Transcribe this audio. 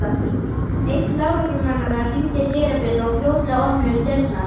Einn lögreglumannanna hringdi dyrabjöllu og fljótlega opnuðust dyrnar.